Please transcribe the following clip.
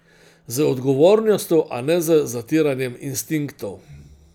Z odgovornostjo, a ne z zatiranjem instinktov.